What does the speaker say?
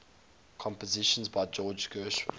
compositions by george gershwin